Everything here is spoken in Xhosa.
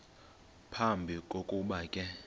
phambi kokuba ke